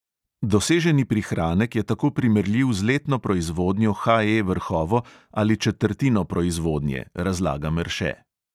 Doseženi prihranek je tako primerljiv z letno proizvodnjo HE vrhovo ali četrtino proizvodnje, razlaga merše.